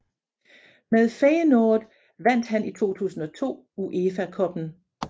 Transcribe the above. Med Feyenoord vandt han i 2002 UEFA Cuppen